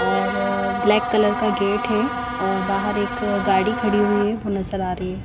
और black colour का gate है और बाहर एक अ गाड़ी खड़ी हुई है वो नज़र आ रही है।